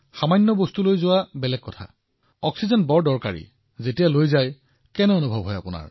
সাধাৰণ সামগ্ৰী লৈ যোৱাৰ কথা ভিন্ন অক্সিজেন ইমান গুৰুত্বপূৰ্ণ সামগ্ৰী কেনে অনুভৱ হৈছিল